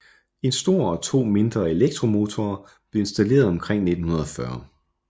En stor og to mindre elektromotorer blev installeret omkring 1940